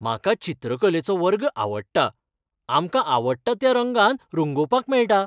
म्हाका चित्रकलेचो वर्ग आवडटा. आमकां आवडटा त्या रंगान रंगोवपाक मेळटा.